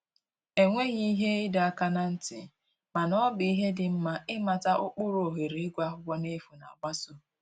E nweghị ihe ịdọ aka na ntị, mana ọ bụ ihe dị nma ịmata ụkpụrụ ohere ịgụ akwụkwọ n'efu na-agbaso